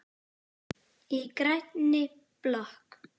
Í grænni blokk